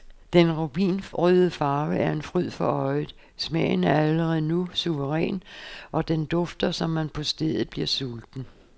Den rubinrøde farve er en fryd for øjet, smagen er allerede nu suveræn og den dufter, så man på stedet bliver sulten.